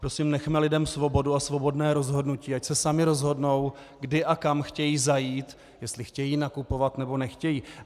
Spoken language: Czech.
Prosím, nechme lidem svobodu a svobodné rozhodnutí, ať se sami rozhodnou, kdy a kam chtějí zajít, jestli chtějí nakupovat, nebo nechtějí.